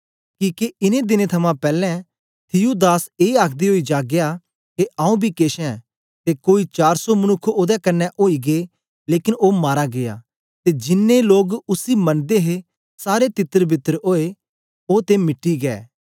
किके इनें दिनें थमां पैलैं थियूदास ए आखदे ओई जागया के आंऊँ बी केछ ऐं ते कोई चार सौ मनुक्ख ओदे कन्ने ओई गै लेकन ओ मारा गीया ते जिनैं लोग उसी मनदे हे सारे तितरबितर ओए ओ ते मिटी गै